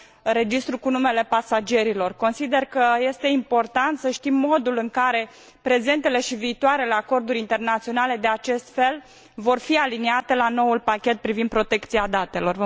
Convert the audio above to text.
registrul cu numele pasagerilor. Consider că este important să știm modul în care prezentele și viitoarele acorduri internaționale de acest fel vor fi aliniate la noul pachet privind protecția datelor.